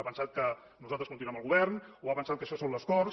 ha pensat que nosaltres continuem al govern o ha pensat que això són les corts